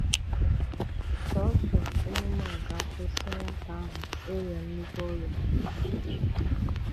Sọọsọ emume a ga-akwụsị̀ nwátà ahụ ị̀rịa nnukwu ọrịa.